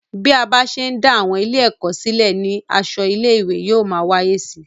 Bí a bá ṣe ń dá àwọn ilé-èkó silẹ ní asọ ilé-ìwé yóò máa wáyé síi